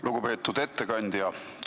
Lugupeetud ettekandja!